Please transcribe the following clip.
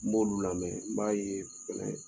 N b'olu lamɛn n b'a ye fɛnɛ